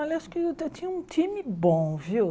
Olha eu acho que eu tinha um time bom, viu?